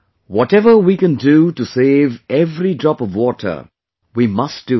Whatever we can do to save every drop of water, we must do that